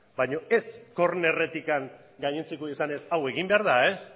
baina ez kornerretik gainontzeko izanez hau egin behar da